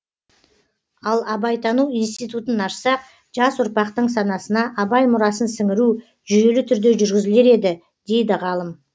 ал абайтану институтын ашсақ жас ұрпақтың санасына абай мұрасын сіңіру жүйелі түрде жүргізілер еді дейді ғалым